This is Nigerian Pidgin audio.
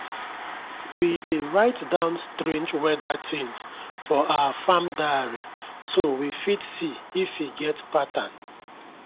we dey write down strange weather things for our farm diary so we fit see if e get pattern.